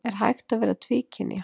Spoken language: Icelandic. Er hægt að vera tvíkynja?